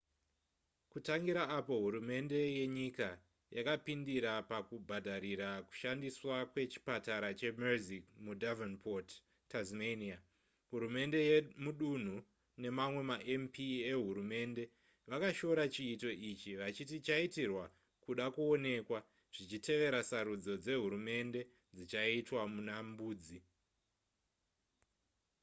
kutangira apo hurumende yenyika yakapindira pakubhadharira kushandiswa kwechipatara chemersey mudevonport tasmania hurumende yemudunhu nemamwe mamp ehurumende vakashora chiito ichi vachiti chaitirwa kuda kuonekwa zvichitevera sarudzo dzehurumende dzichaitwa muna mbudzi